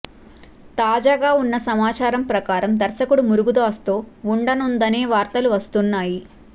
తాజాగా ఉన్న సమాచారం ప్రకారం దర్శకుడు మురుగదాస్ తో వుండనుందనే వార్తలు వస్తున్నాయి